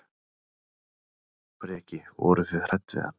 Breki: Voruð þið hrædd við hann?